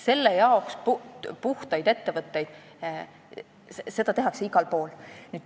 Selleks tehakse igal pool puhtaid ettevõtteid.